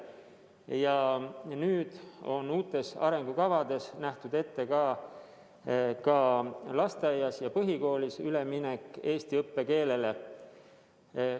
Ja uutes arengukavades on ette nähtud ka lasteaia ja põhikooli üleminek eesti õppekeelele.